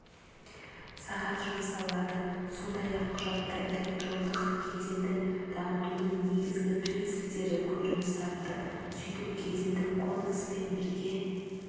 сағат жұмсалады сондай-ақ құжатта электрондық кеденді дамытудың негізгі принциптері көрініс тапты сөйтіп кедендік кодкеспен бірге